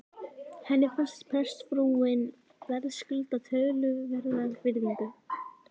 Henni fannst prestsfrúin verðskulda töluverða virðingu.